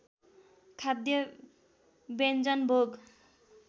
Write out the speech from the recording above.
खाद्य व्यञ्जन भोग